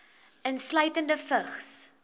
insluitende vigs